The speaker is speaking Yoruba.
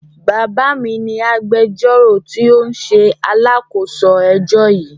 Bàbá mi ni agbẹjọ́rò tí ó ń ṣe alákòóso ẹjọ́ yìí.